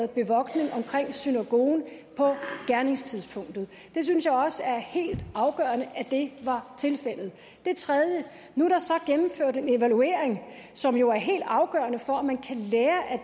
bevogtning omkring synagogen på gerningstidspunktet jeg synes også det er helt afgørende at det var tilfældet det tredje er at nu er der så gennemført en evaluering som jo er helt afgørende for om man kan lære af